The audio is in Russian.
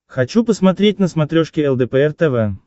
хочу посмотреть на смотрешке лдпр тв